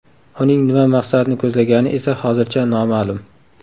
Uning nima maqsadni ko‘zlagani esa hozircha noma’lum.